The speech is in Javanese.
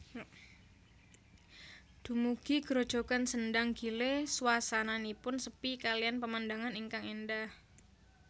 Dumugi grojogan Sendhang gile swasananipun sepi kaliyan pemandangan ingkang éndah